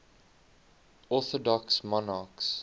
orthodox monarchs